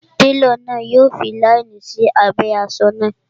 Télọ̀ náà yọ fi láínì sí abẹ́ asọ náà